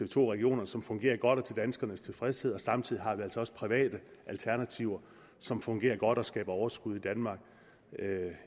to regionerne som fungerer godt og til danskernes tilfredshed og samtidig altså også private alternativer som fungerer godt og skaber overskud i danmark